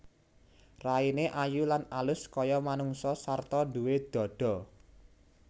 Raine ayu lan alus kaya manungsa sarta duwé dhadha